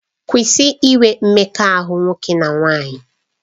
Kwụsị inwe mmekọahụ nwoke na nwaanyị!